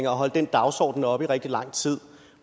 og holdt den dagsorden oppe i rigtig lang tid